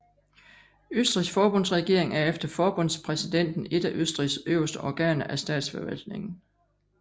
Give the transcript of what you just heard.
Østrigs forbundsregering er efter forbundspræsidenten et af Østrigs øverste organer af statsforvaltningen